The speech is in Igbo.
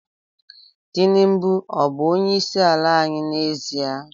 Tinubu ọ bụ onyeisiala anyị n'ezie?